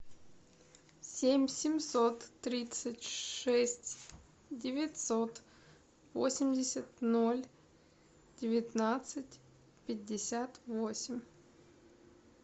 семь семьсот тридцать шесть девятьсот восемьдесят ноль девятнадцать пятьдесят восемь